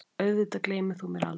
Auðvitað gleymir þú mér aldrei.